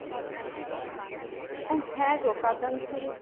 হ্যাঁ গো কাতান silk